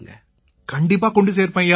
கண்டிப்பா கொண்டு சேர்ப்பேன் ஐயா